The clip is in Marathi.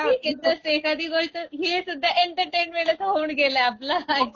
फक्त ती एखादी गोष्ट ही सुद्धा एंटरटेनमेंटच होऊन गेल आपल.